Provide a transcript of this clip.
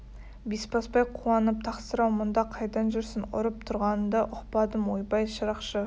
бесбасбай қуанып тақсыр-ау мұнда қайдан жүрсің ұрып тұрғаныңды ұқпадым ойбай шырақшы